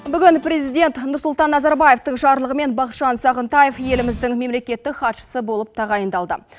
бүгін президент нұрсұлтан назарбаевтың жарлығымен бахытжан сағынтаев еліміздің мемлекеттік хатшысы болып тағайындалды